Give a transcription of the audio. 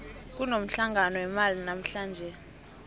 kunomhlangano wemali namuhlanje